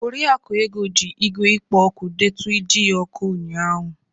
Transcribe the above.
Oriakụ Ego ji igwe ikpō oku deetu iji oku unya ụnyahụ.